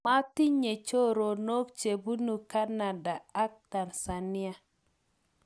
matinye choronok che bunu kanada ak Tanzania